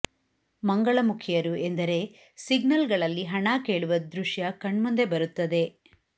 ಮಂಗಳಮುಖಿಯರು ಎಂದರೆ ಸಿಗ್ನಲ್ ಗಳಲ್ಲಿ ಹಣ ಕೇಳುವ ದೃಶ್ಯ ಕಣ್ಮುಂದೆ ಬರುತ್ತದೆ